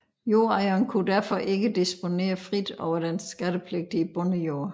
Jordejeren kunne derfor ikke disponere frit over den skattepligtige bondejord